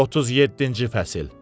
37-ci fəsil.